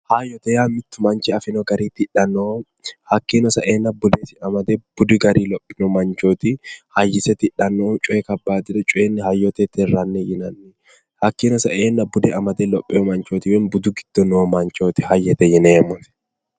Hayyote yaa mittu manchi afino garii tidhanno hakkiino sa"eenna bude sidaamu budi garii hayyise tidhannohu coye kabbaadiro tirranni yinanni hakkiino sa"eenna bude amade lopheyo manchooti woyi budu giddo noo manchooti hayyote yineemmohti